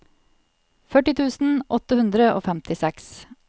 førti tusen åtte hundre og femtiseks